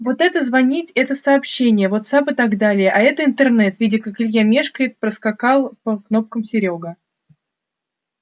вот это звонить это сообщения вотсапп и так далее а это интернет видя как илья мешкает проскакал по кнопкам серёга